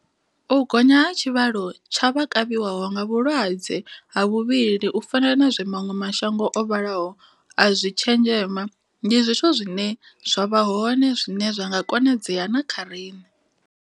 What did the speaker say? U gonya ha tshi vhalo tsha vha kavhiwaho nga vhu lwadze ha vhuvhili u fana na zwe maṅwe mashango o vhalaho a zwi tshenzhema ndi zwithu zwine zwa vha hone zwine zwa nga konadzea na kha riṋe.